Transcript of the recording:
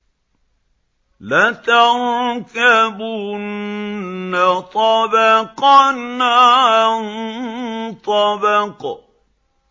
لَتَرْكَبُنَّ طَبَقًا عَن طَبَقٍ